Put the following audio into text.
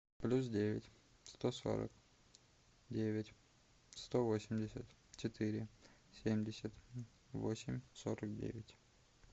плюс девять сто сорок девять сто восемьдесят четыре семьдесят восемь сорок девять